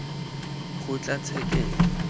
kgotlatshekelo